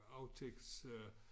Aftægts øh